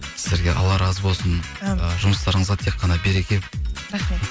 сіздерге алла разы болсын әумин ы жұмыстарыңызға тек қана береке рахмет